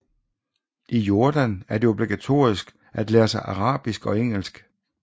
I Jordan er det obligatorisk at lære sig arabisk og engelsk